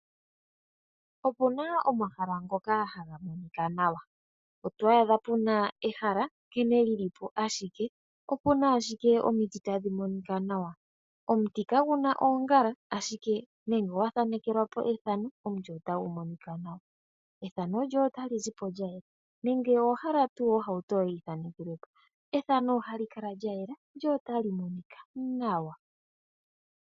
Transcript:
Opuna omahala ngoka haga monika nawa. Oto adha puna ehala nkene li li po ashike , opuna ashike omiti tadhi monika nawa. Omiti kadhina oongala ashike nenge owa thanekelwa po efano, omuti ohagu monika nawa, efano lyoye otali zipo lyayela. Nenge owa hala ohauto yoye yithaanekelwe po, efano lyoye ohali kala lya yela, lyo otali monika nawa.